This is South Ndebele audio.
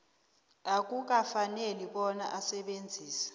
akukafaneli bona asebenzise